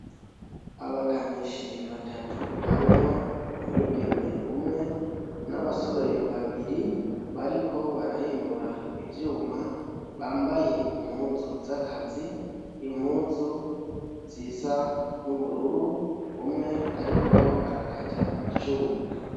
Abakanishi batatu harimwo umwigeme umwe n'abasore babiri bariko barahimbura ivyuma bambaye impuzu z'akazi impuzu zisa n'ubururu umwe, ariko arakata icuma.